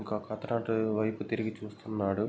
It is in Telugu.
ఇంకొక అతను అటు వైపు తిరిగి చూస్తున్నాడు.